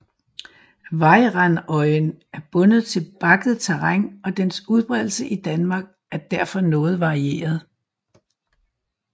Vejrandøjen er bundet til bakket terræn og dens udbredelse i Danmark er derfor noget varieret